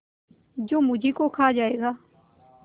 जो मुझी को खा जायगा